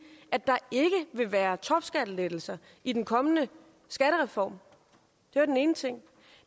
at der ikke vil være topskattelettelser i den kommende skattereform det er den ene ting